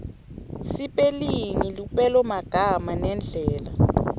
sipelingi lupelomagama nendlela